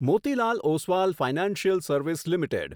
Motilal Oswal financial service limited